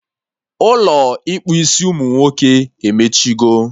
Ụlọ ịkpụ isi umunwoke emechigo